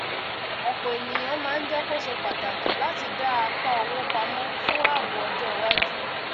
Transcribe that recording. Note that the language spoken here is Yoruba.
ọpọ ènìyàn máa ń jẹ kó ṣe pàtàkì láti dá apá owó pamọ fún ààbò ọjọ iwájú